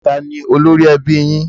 Taàní ólori ẹbí yín?